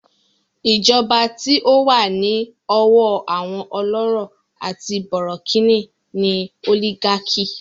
Ìjọba tí ó wà ní ọwọ́ àwọn ọlọ́rọ̀ àti bọ̀rọ̀kìní ni òlígákì.